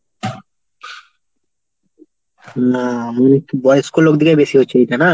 না আমি একটু বয়স্ক লোকদেরই বেশি হচ্ছে এইটা না?